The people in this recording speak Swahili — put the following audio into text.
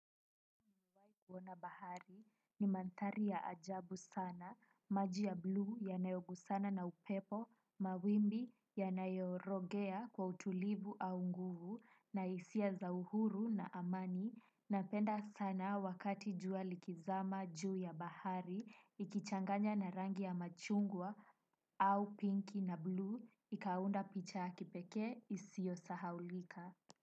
Kuona bahari ni mandhari ya ajabu sana, maji ya bluu yanayogusana na upepo, mawimbi yanayorogea kwa utulivu au nguvu na hisia za uhuru na amani. Napenda sana wakati jua likizama juu ya bahari, ikichanganya na rangi ya machungwa au pinki na bluu, ikaunda picha ya kipekee isiyo sahaulika.